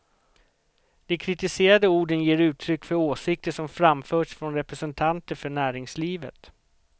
De kritiserade orden ger uttryck för åsikter som framförts från representanter för näringslivet.